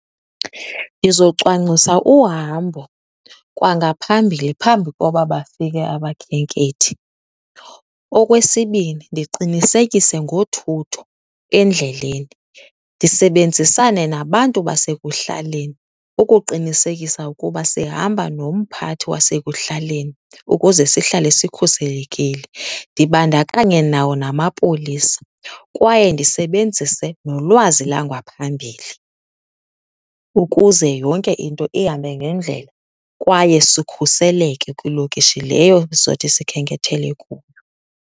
Ndizocwangcisa uhambo kwangaphambili phambi koba bafike abakhenkethi. Okwesibini, ndiqinisekise ngothutho endleleni. Ndisebenzisane nabantu basekuhlaleni ukuqinisekisa ukuba sihamba nomphathi wasekuhlaleni ukuze sihlale sikhuselekile, ndibandakanye nawo namapolisa. Kwaye ndisebenzise nolwazi langwaphambili ukuze yonke into ihambe ngendlela kwaye sikhuseleke kwilokishi leyo sizothi sikhenkethele kuyo.